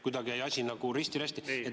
Kuidagi jäi see asi nagu risti-rästi.